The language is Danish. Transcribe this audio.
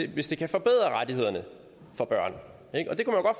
hvis det kan forbedre rettighederne for børn